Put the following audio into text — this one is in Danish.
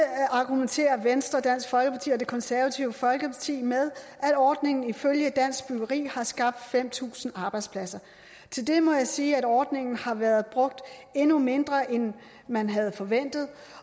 argumenterer venstre dansk folkeparti og det konservative folkeparti med at ordningen ifølge dansk byggeri har skabt fem tusind arbejdspladser til det må jeg sige at ordningen har været brugt endnu mindre end man havde forventet